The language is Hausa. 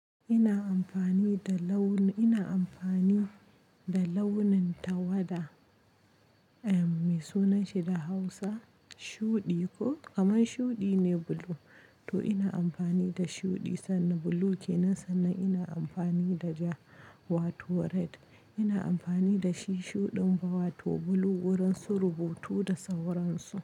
Ina amfani da launin tawada, me sunanshi da Hausa? Shuɗi ko? Kaman shuɗi ne blue. To ina amfani da shuɗi sannan blue ke nan, sannan ina amfani da ja wato red. Ina amfani da shi shuɗin ba wato blue wurin su rubutu da sauransu.